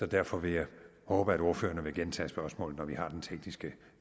derfor vil jeg håbe at ordførerne vil gentage spørgsmålene når vi har den tekniske